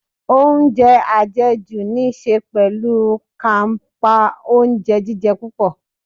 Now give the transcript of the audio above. Oúnjẹ àjẹjù níí ṣe pẹ̀lú kàńpá oúnjẹ jíjẹ púpọ̀.